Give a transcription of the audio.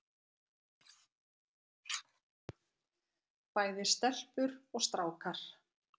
Bæði stelpur og strákar.